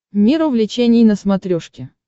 мир увлечений на смотрешке